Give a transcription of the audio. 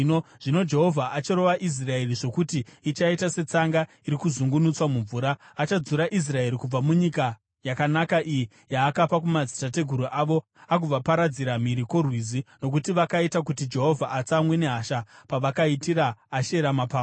Zvino Jehovha acharova Israeri, zvokuti ichaita setsanga iri kuzungunuswa mumvura. Achadzura Israeri kubva munyika yakanaka iyi yaakapa kumadzitateguru avo agovaparadzira mhiri kwoRwizi, nokuti vakaita kuti Jehovha atsamwe nehasha pavakaitira Ashera mapango.